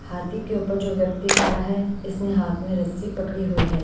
हाथी के ऊपर जो व्यक्ति खड़ा है इसने हाथ में रस्सी पकड़ी हुई है।